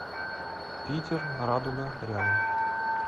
питер радуга рядом